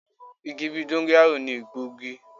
Igi bí i dóngọ́yáró ni egbòogi.